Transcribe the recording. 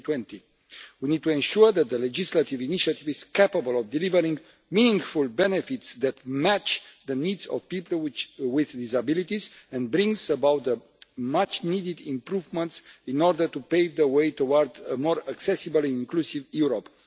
2020. We need to ensure that the legislative initiative is capable of delivering meaningful benefits that match the needs of people with disabilities and brings about the much needed improvements in order to pave the way towards a more accessible and inclusive Europe.